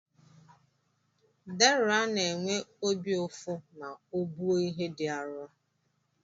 Deraa na-enwe obi ụfụ ma o buo ihe dị arụ.